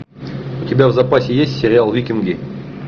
у тебя в запасе есть сериал викинги